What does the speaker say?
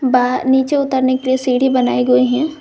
बाहर नीचे उतरने के लिए सीढ़ी बनाई हुई हैं।